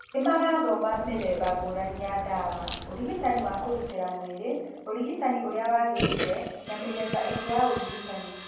Nĩmarathoma mĩthemba ngũrani ya ndawa, ũrigitani wa kũgitĩra mwĩrĩ ,ũrigitani ũrĩa wagĩrĩire na mĩthemba ĩngĩ ya ũrigitani.